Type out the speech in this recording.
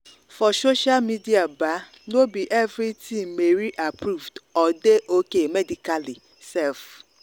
for social media ba no be everything mary approved or dey okay medically sef